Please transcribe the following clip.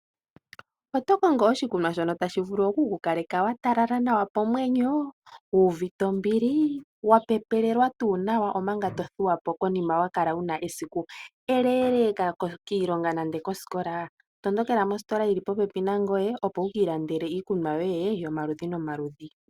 Oto kongo oshikunwa shoku ku talaleka komwenyo, wuuve ombili nowu kale wa pepelewa nawa omanga tothuwa po? Tondokela mositola yi li popepi nangoye opo wu ilandele iikunwa yoye yomaludhi nomaludhi wu vule okwii kutha epupyu nomvulwe yokiilonga nenge kosikola.